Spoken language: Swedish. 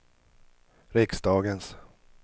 riksdagens